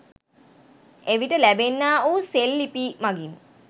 එවිට ලැබෙන්නා වූ සෙල් ලිපි මගින්